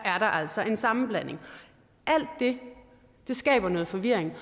altså en sammenblanding alt det skaber noget forvirring